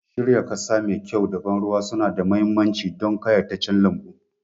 Shirya ƙasa mai kyau da ban ruwa suna da mahimmanci don ƙayataccen lambu